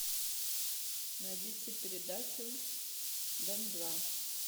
найдите передачу дом два